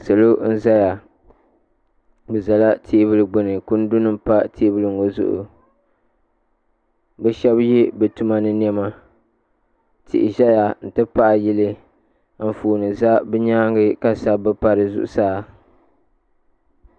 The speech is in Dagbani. Salo n-zaya bɛ zala teebuli gbuni kundinima pa teebuli ŋɔ zuɣu bɛ shɛba ye bɛ tuma ni nɛma tihi ʒeya nti pahi yili anfooni za bɛ nyaaŋa ka sabbu pa di zuɣusaa.